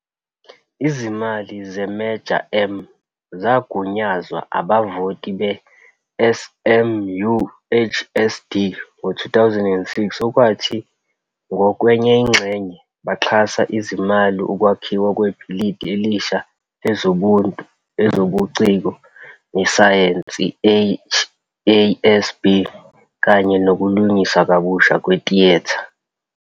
Izimali ze-Measure M zagunyazwa abavoti be-SMUHSD ngo-2006 okwathi ngokwengxenye baxhasa ngezimali ukwakhiwa kwebhilidi elisha lezobuntu, ezobuciko, nesayensi, HASB, kanye nokulungiswa kabusha kwetiyetha.